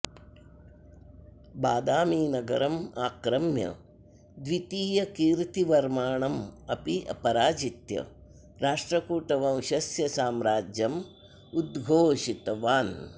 बादामिनगरं आक्रम्य द्वितीयकीर्तिवर्माणम् अपि पराजित्य राष्ट्रकूटवंशस्य साम्राज्यं उद्धोषितवान्